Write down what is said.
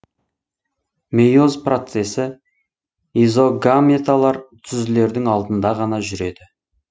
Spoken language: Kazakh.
мейоз процесі изогаметалар түзілердің алдында ғана жүреді